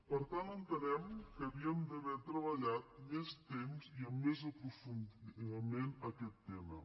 per tant entenem que havíem d’haver treballat més temps i amb més aprofundiment aquest tema